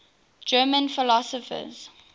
german philosophers